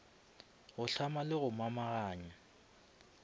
go hlama le go momaganya